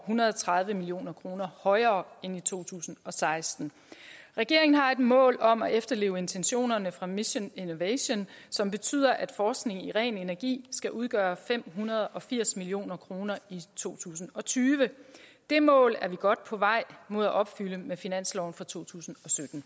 hundrede og tredive million kroner højere end i to tusind og seksten regeringen har et mål om at efterleve intentionerne fra mission innovation som betyder at forskning i ren energi skal udgøre fem hundrede og firs million kroner i to tusind og tyve det mål er vi godt på vej mod at opfylde med finansloven for to tusind